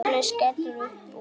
Agnes skellir upp úr.